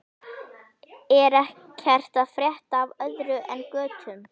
Er ekkert að frétta af öðru en götum?